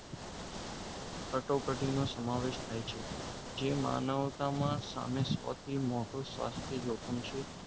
કટોકટીનો સમાવેશ થાય છે જેમાં માનવ્તામા સામિષ્ટ મોટો સ્વાસ્થ્ય જોખમ છે